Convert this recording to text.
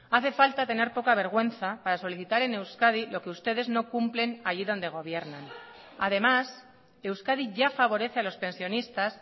hace falta tener poca vergüenza para solicitar en euskadi lo que ustedes no cumplen allí donde gobiernan además euskadi ya favorece a los pensionistas